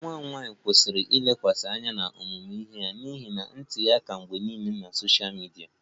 Nwa m nwanyị kwụsịrị ilekwasị anya n'ọmụmụ ihe ya n'ihi ntinye aka mgbe niile na sosha midia